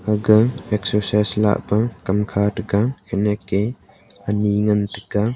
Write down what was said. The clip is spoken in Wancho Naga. ake excercise lahpa kamkha tega khenyak e ani ngan taiga.